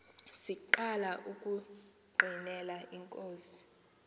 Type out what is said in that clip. siqala ukungqinela inkosi